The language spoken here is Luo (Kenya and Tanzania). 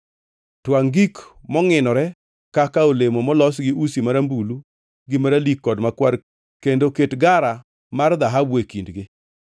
Twangʼ gik mongʼinore kaka olemo molos gi usi marambulu gi maralik kod makwar kendo ket gara mar dhahabu e kindgi